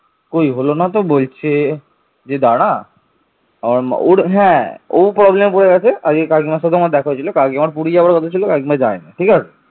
সপ্তম খ্রিস্টপূর্বাব্দের দিকে বাংলাদেশের পশ্চিমাঞ্চল মগধের অংশ হিসেবে ইন্দো আর্য সভ্যতার অংশ হয়ে উঠেছিল